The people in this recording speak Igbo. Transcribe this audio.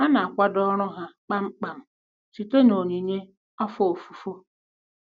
A na-akwado ọrụ ha kpamkpam site na onyinye afọ ofufo.